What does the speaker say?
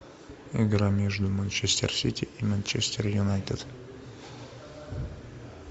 игра между манчестер сити и манчестер юнайтед